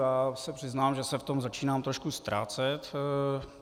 Já se přiznám, že se v tom začínám trošku ztrácet.